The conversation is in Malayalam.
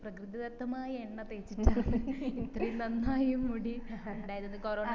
പ്രകൃതിദത്തമായ എണ്ണ തേച്ചിട്ടാണ് ഇത്ര നന്നായി മുടി ഇണ്ടായത്